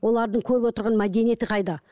олардың көріп отырған мәдениеті қайда